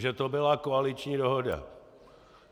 Že to byla koaliční dohoda.